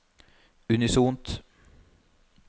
unisont